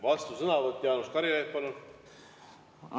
Vastusõnavõtt, Jaanus Karilaid, palun!